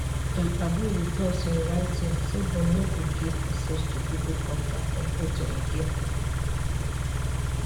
dem agree wit us in writing say dem no go get access to pipo contacts and photo again